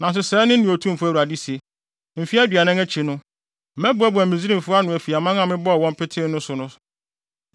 “ ‘Nanso sɛɛ ne nea Otumfo Awurade se: Mfe aduanan akyi no, mɛboaboa Misraimfo ano afi aman a mebɔɔ wɔn petee so no so.